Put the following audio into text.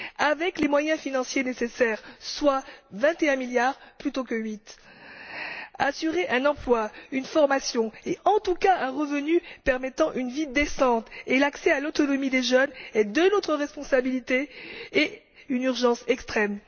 Avec les moyens financiers nécessaires, soit vingt et un milliards plutôt que huit, assurer aux jeunes un emploi, une formation et, en tout cas, un revenu leur permettant une vie décente et l'accès à l'autonomie relève de notre responsabilité et est une urgence extrême.